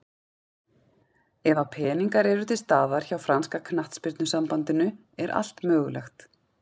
Ef að peningar eru til staðar hjá franska knattspyrnusambandinu er allt mögulegt.